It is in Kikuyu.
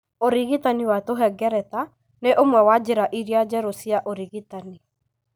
Ũrigitani wa tũhengereta nĩ ũmwe wa njĩra iria njerũ cia ũrigitani